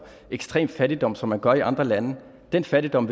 ekstrem fattigdom som man gør i andre lande den fattigdom